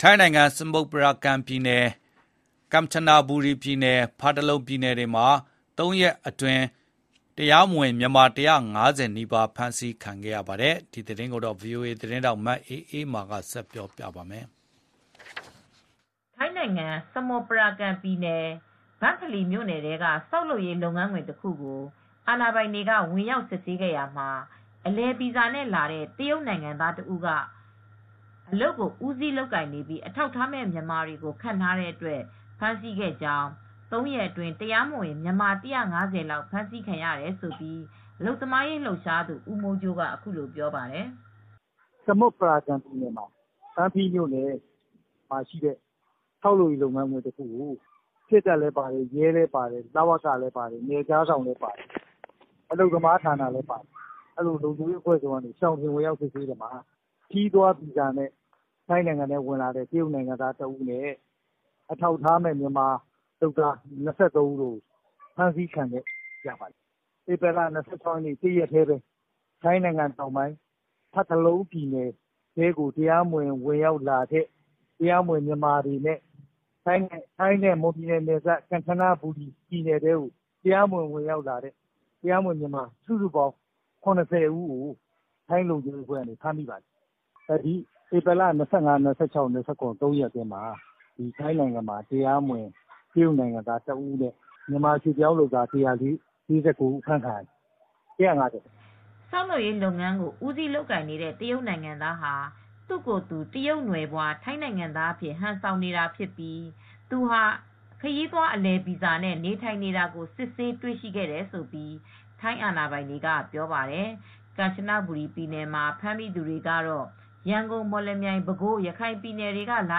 ထိုင်းနိုင်ငံ စမုတ်ပရာကန်ပြည်နယ်၊ ကမ်ချနဘူရီပြည်နယ်နဲ့ ဖာတလုံပြည်နယ်တွေမှာ ၃ ရက် အတွင်း အထောက်အထားမဲ့ မြန်မာ ၁၅၀ နီးပါး ဖမ်းဆီးခံခဲ့ရပါတယ်။ ဒီသတင်းကို ဗွီအိုအေ သတင်းထောက် မအေးအေးမာက သတင်းပေးပို့ထားပါတယ်။ ထိုင်းနိုင်ငံ စမုတ်ရာကန်ပြည်နယ် ဘန့်ဖလီမြို့နယ်ထဲက ဆောက်လုပ်ရေးလုပ်ငန်းခွင်တခုမှာကို အာဏာပိုင်တွေကဝင်ရောက်စစ်ဆေးခဲ့ရာမှာ အလည်ဗီဇာနဲ့လာတဲ့ တရုတ်နိုင်ငံသားတဦးက ဦးစီးလုပ်ကိုင်နေပြီး အထောက်အထားမဲ့မြန်မာတွေကိုခန့်ထားတဲ့အတွက် ဖမ်းဆီးခဲ့ကြောင်း ၃ ရက်အတွင်း တရားမဝင်မြန်မာ ၁၅၀ လောက်ဖမ်းဆီးခံရတယ်လို့ အလုပ်သမားရေးလှုပ်ရှားသူဦးမိုးကြိုးက အခုလိုပြောပါတယ်။ "စမုတ်ပရာကန်ပြည်နယ် ဘန်ဖလီမြို့နယ်ထဲမှာရှိတဲ့ ဆောက်လုပ်ရေးလုပ်ငန်းခွင်တခုကို စစ်တပ်၊ ရဲ၊ လုံခြုံရေးအဖွဲ့၊ အလုပ်သမားဌာနဆိုင်ရာလည်း ပါတယ်။ လုံခြုံရေးအဖွဲ့စုံက ရှောင်တခင်ဝင်ရောက်စစ်ဆေးတဲ့အခါမှာ ခရီးသွားဗီဇာနဲ့ တရုတ်နိုင်ငံသားတဦးနဲ့ အထောက်အထားမဲ့ မြန်မာအလုပ်သမား ၂၃ ဦး ဖမ်းဆီးခံရပါတယ်။ ဧပြီလ ၂၆ ရက်နေ့ တနေ့တည်းပဲ ထိုင်းတောင်ပိုင်း ဖာတလုံပြည်နယ်ထဲဝင်လာတဲ့မြန်မာတွေနဲ ထိုင်းနဲ့မွန်ပြည်နယ် ကမ်ချနဘူရီပြည်နယ်ထဲကိုဝင်လာတဲ့ တရားမဝင်မြန်မာ စုစုပေါင်း ၇၀ ဦးကို ဖမ်းမိပါတယ်။ ဧပြီလ ၂၅၊ ၂၆ ၂၇။ ၃ ရက်ထဲမှာ တရုတ်နိုင်ငံသားတဦးနဲ့တရားမဝင်မြန်မာ ၁၄၉ ဦး။ စုစုပေါင်း ၁၅၀ ဖမ်းမိခဲ့ပါတယ်။" ဆောက်လုပ်ရေးလုပ်ငန်းကို ဦးစီးလုပ်ကိုင်နေတဲ့တရုတ်နိုင်ငံသားဟာ သူ့ကိုယ်သူ တရုတ်နွယ်ဖွား ထိုင်းနိုင်ငံသားအဖြစ် ဟန်ဆောင်နေတာဖြစ်ပြီး သူဟာ ခရီးသွားအလည်ဗီဇာနဲ့ နေထိုင်နေတာကို စစ်ဆေးတွေ့ရှိတယ်လို့ ထိုင်းအာဏာပိုင်တွေကပြောပါတယ်။ ကမ်ချနဘူရီပြည်နယ်မှာ ဖမ်းမိသူတွေကတော့ ရန်ကုန်၊ မော်လမြိုင်၊ ပဲခူး၊ ရခိုင်ပြည်နယ်တွေကလာ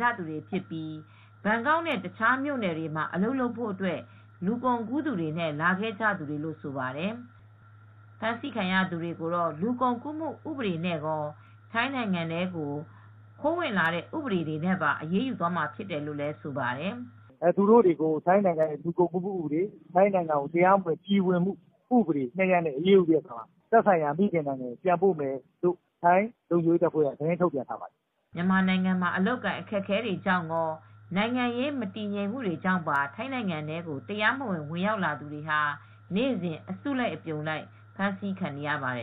ကြသူတွေဖြစ်ပြီး ဘန်ကောက်နဲ့တခြားမြို့နယ်တွေမှာအလုပ်လုပ်ဖို့ လူကုန်ကူးသူတွေနဲ့လာကြသူတွေဖြစ်ပါတယ်။ ဖမ်းဆီးခံရသူတွေကိုတော့လူကုန်ကူးမှုဥပဒေနဲ့ကော ထိုင်းနိုင်ငံထဲခိုးဝင်တဲ့ဥပဒေတွေနဲ့ပါ အရေးယူမှာဖြစ်တယ်လို့လည်း ဆိုပါတယ်။ "သူတို့ကိုတော့ ထိုင်းနိုင်ငံလူကုန်ကူးမှုဥပဒေ၊ ထိုင်းလူဝင်မှုဥပဒေတွေနဲ့အရေးယူပြီး သက်ဆိုင်ရာ နိုင်ငံတွေကိုပြန်ပို့မယ့်အကြောင်း ထိုင်းလုံခြုံရေးတပ်ဖွဲ့တွေက သတင်းထုတ်ပြန်ထားပါတယ်။" မြန်မာနိုင်ငံမှာ အလုပ်အကိုင်အခက်အခဲတွေကြောင့်ကော နိုင်ငံရေးမတည်ငြိမ်မှုတွေကြောင့် ထိုင်းနိုင်ငံထဲကို တရားမဝင် ဝင်ရောက်လာသူတွေဟာ နေ့စဉ် အစုလိုက်အပြုံလိုက် ဖမ်းဆီးခံနေရပါတယ်